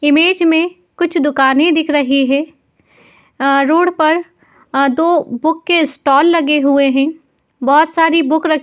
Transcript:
Image में कुछ दुकाने दिख रही हैं। रोड पर दो बुक के स्टॉल लगे हुए हैं। बहोत सारी बुक र --